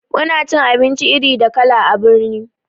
Muna cin abinci iri da kala a birni